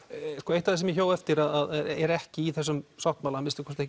eitt af því sem ég hjó eftir er ekki í þessum sáttmála að minnsta kosti